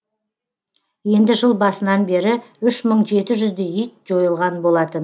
енді жыл басынан бері үш мың жеті жүздей ит жойылған болатын